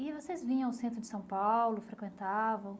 E vocês vinham ao centro de São Paulo, frequentavam?